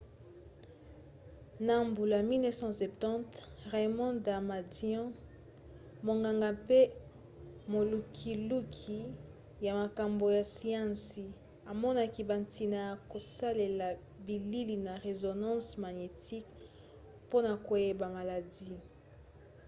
na mbula 1970 raymond damadian monganga mpe molukiluki ya makambo ya siansi amonaki bantina ya kosalela bilili na résonance magnétique mpona koyeba maladi